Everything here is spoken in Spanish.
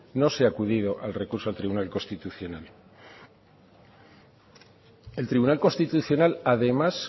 no se ha acudido al recurso al tribunal constitucional el tribunal constitucional además